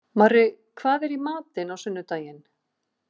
Marri, hvað er í matinn á sunnudaginn?